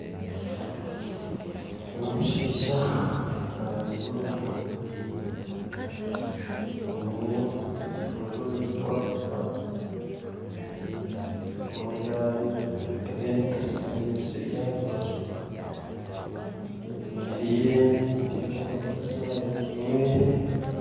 Ogu nomushaiha naayosya enyama, ayine ekigiiko kyokuzikwatisa, ezimwe zahiire ezindi tizikahire zikyirya aha rubaju, ayemerire nindeeba omukazi aha rubaju rwe